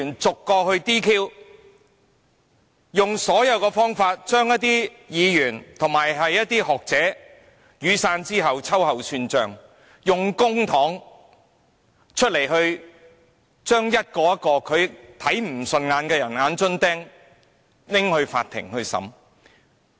在雨傘運動後，他用盡方法對一些議員及學者秋後算帳，用公帑將一個個他看不順眼的"眼中釘"交給法庭審理。